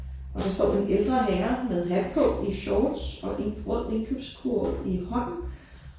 Og så står den ældre herre med hat på i shorts og en rød indkøbskurv i hånden